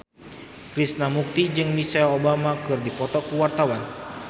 Krishna Mukti jeung Michelle Obama keur dipoto ku wartawan